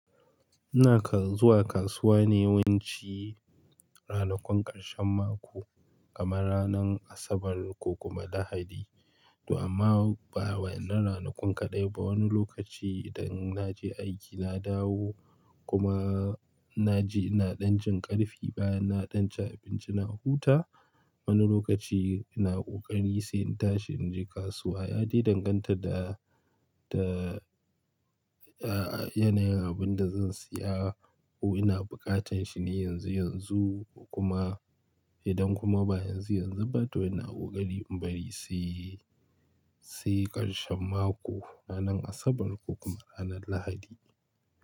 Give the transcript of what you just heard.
Ina kan zuwa kasuwa ne yawanci ranakun ƙarshen mako, kamar ranar Asabar ko kuma Lahadi. To amma ba wainnan ranakun kaɗai ko, wani lokaci idan na je aiki na dawo kuma na ji ina ɗan jin ƙarfi baya na ɗan ci abinci na huta. Wani lokaci ina ƙoƙari sai in tashi in je kasuwa. Ya dai danganta da, da, a, yanayin abin da zan siya ko ina buƙatar shi ne yanzu yanzu kuma idan kuma ba yanzu yanzu ba to ina ƙoƙari in bari sai, sai ƙarshen mako ranar Asabar ko kuma ranar Lahadi.